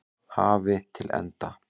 hafi til enda.